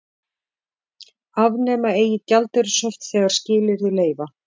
Afnema eigi gjaldeyrishöft þegar skilyrði leyfa